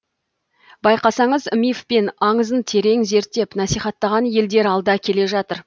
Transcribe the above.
байқасаңыз миф пен аңызын терең зерттеп насихаттаған елдер алда келе жатыр